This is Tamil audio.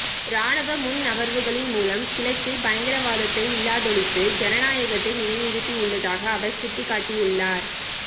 இராணுவ முன்நகர்வுகளின் மூலம் கிழக்கில் பயங்கரவாதத்தை இல்லாதொழித்து ஜனநாயகத்தை நிலைநிறுத்தியுள்ளதாக அவர் சுட்டிக்காட்டியுள்ளார்